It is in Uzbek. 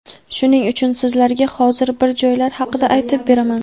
Shuning uchun sizlarga hozir bir joylar haqida aytib beraman.